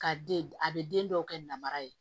Ka den a bɛ den dɔw kɛ namara ye